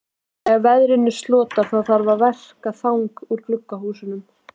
Þegar veðrinu slotar þarf að verka þang úr glugghúsum.